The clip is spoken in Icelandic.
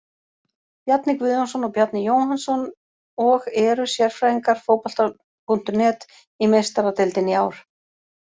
Bjarni Guðjónsson og Bjarni Jóhannsson og eru sérfræðingar Fótbolta.net í Meistaradeildinni í ár.